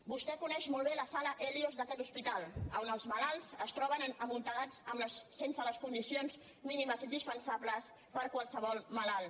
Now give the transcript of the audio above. vostè coneix molt bé la sala hèlios d’aquest hospital on els malalts es troben amuntegats sense les condicions mínimes indispensables per a qualsevol malalt